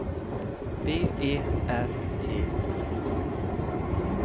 B E R T H